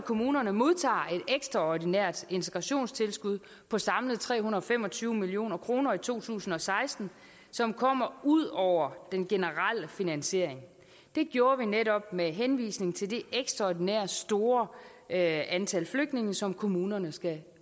kommunerne modtager et ekstraordinært integrationstilskud på samlet tre hundrede og fem og tyve million kroner i to tusind og seksten som kommer ud over den generelle finansiering det gjorde vi netop med henvisning til det ekstraordinært store antal flygtninge som kommunerne skal